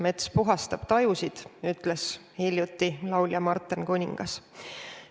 "Mets puhastab tajusid," ütles hiljuti laulja Marten Kuningas.